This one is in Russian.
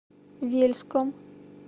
вельском